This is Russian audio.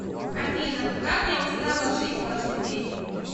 афина как я устала жить каждый день